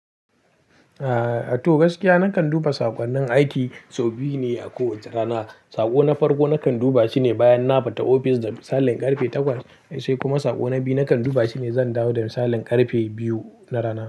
Eh, a to gaskiya na kan duba saƙonnin aiki sau biyu ne a kowace rana. Sako na farko na kan duba shi ne bayan na fita office da misalin karfe takwas sai kuma sako na biyu na kan duba shine lokacin da misalin karfe biyu na rana.